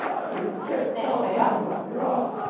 Nesøya